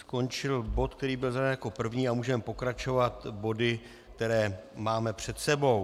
Skončil bod, který byl zařazen jako první, a můžeme pokračovat body, které máme před sebou.